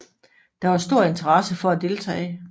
Der var stor interesse for at deltage